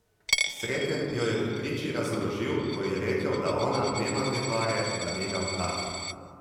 Sreten jo je pri priči razorožil, ko ji je rekel, da ona nema te pare, da njega plati.